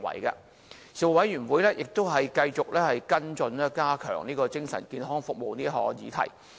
事務委員會亦繼續跟進加強精神健康服務這項議題。